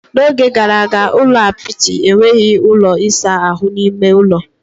N'oge gara aga, ụlọ apịtị enweghị ụlọ ịsa ahụ n'ime ųlo.